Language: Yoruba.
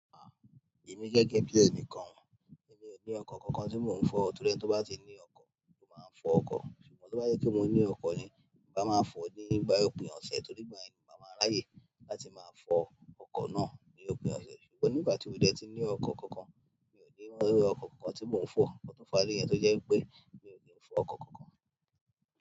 Ah! Èmi gẹ́gẹ́ bí ẹnì kan, èmi ò ní ọkọ̀ kankan tí mò ń fọ̀ torí ẹni tó bá ti ní ọkọ̀ ló máa ń fọ ọkọ̀. Ṣùgbọ́n tó bá jẹ́ pé mò ní ọkọ̀ ni, máà ma fọ̀ ọ́ ní ìgbà òpin ọ̀sẹ̀ torí ìgbà yẹn ni màá ma ráyè láti máa fọ ọkọ̀ náà ni òpin ọ̀sẹ̀. Ṣùgbọ́n ní ìgbà tí mi ò dẹ̀ ti ní ọkọ̀ kankan, mi ò ní ọkọ̀ kankan tí mò ń fọ̀. Ǹkan tó fàá nìyẹn tó jẹ́ pé mi ò lẹ̀ fọ ọkọ̀ kankan.